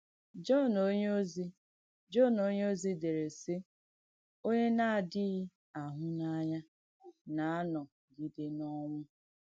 Jọ̀ǹ onyèozì Jọ̀ǹ onyèozì dèrè, sì: “Onyè nà-àdìghì àhú n’ànyà nà-ànọ́gidè n’ọ̀nwú.”